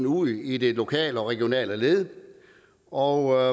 ud i det lokale og regionale led og